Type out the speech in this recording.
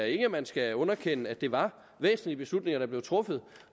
ikke man skal underkende at det var væsentlige beslutninger der blev truffet